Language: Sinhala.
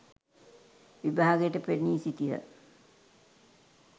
විභාගයට පෙනී සිටියහ.